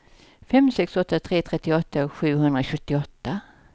fem sex åtta tre trettioåtta sjuhundrasjuttioåtta